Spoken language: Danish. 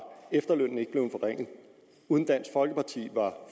efterlønnen ikke blevet forringet uden dansk folkeparti var